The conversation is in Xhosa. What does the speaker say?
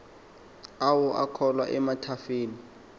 awo akhula emathafeni